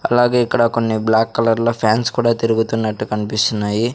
అలాగే ఇక్కడ కొన్ని బ్లాక్ కలర్ లో ఫ్యాన్స్ కూడా తిరుగుతున్నట్టు కనిపిస్తున్నాయి.